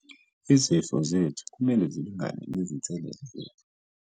Izifiso zethu kumele zilingane nezinselele zethu.